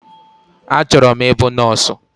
Achọrọ m ịbụ nọọsụ